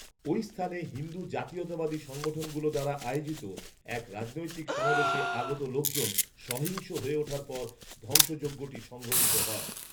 ঐ স্থানে হিন্দু জাতীয়তাবাদী সংগঠনগুলো দ্বারা আয়োজিত এক রাজনৈতিক সমাবেশে আগত লোকজন সহিংস হয়ে উঠার পর ধ্বংসযজ্ঞটি সংগঠিত হয়